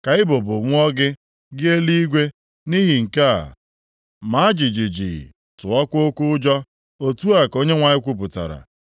Ka ibubo nwụọ gị, gị eluigwe nʼihi nke a, maa jijiji, tụọkwa oke ụjọ.” Otu a ka Onyenwe anyị kwupụtara.